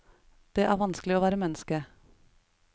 Det er vanskelig å være menneske.